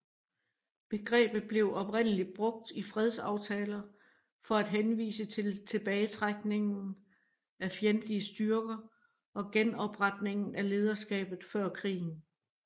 Begrebet blev oprindeligt brugt i fredsaftaler for at henvise til tilbagetrækningen af fjendtlige styrker og genopretningen af lederskabet før krigen